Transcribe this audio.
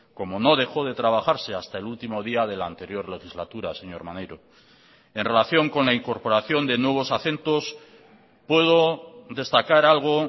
como no dejó de trabajarse hasta el último día de la anterior legislatura señor maneiro en relación con la incorporación de nuevos acentos puedo destacar algo